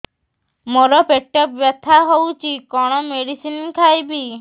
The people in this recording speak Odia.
ମୋର ପେଟ ବ୍ୟଥା ହଉଚି କଣ ମେଡିସିନ ଖାଇବି